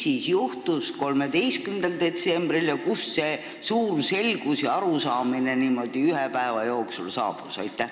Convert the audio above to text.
Mis juhtus 13. detsembril ja kust see suur selgus ja teine arusaamine niimoodi ühe päeva jooksul saabus?